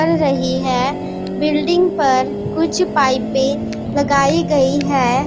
चढ़ रही है बिल्डिंग पर कुछ पाइपे लगाई गई है।